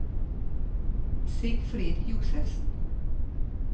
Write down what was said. Sigfrid Josefsen